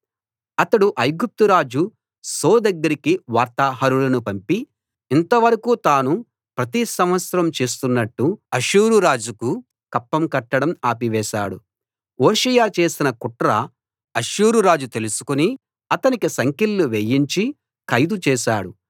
అతడు ఐగుప్తు రాజు సో దగ్గరికి వార్తాహరులను పంపి ఇంత వరకూ తాను ప్రతి సంవత్సరం చేస్తున్నట్టు అష్షూరు రాజుకు కప్పం కట్టడం ఆపి వేశాడు హోషేయ చేసిన కుట్ర అష్షూరు రాజు తెలుసుకుని అతనికి సంకెళ్లు వేయించి ఖైదు చేశాడు